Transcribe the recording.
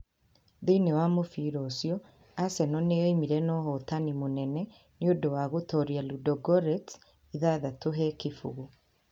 Thĩinĩ wa mũbira ũcio Arsenal nĩoimire na ũhootani mũnenenĩ ũndũ wa gũtooria Ludogorets 6-0.